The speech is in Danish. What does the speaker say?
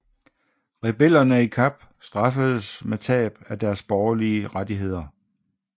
Rebellerne i Kap straffedes med tab af deres borgerlige rettigheder